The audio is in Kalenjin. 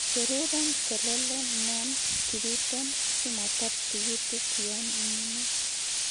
Icheruren selele non kibiten simoter tikitik yon imine